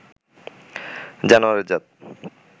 জানোয়ারের জাত